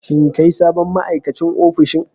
Shin kai ne sabon ma'aikacin ofishin?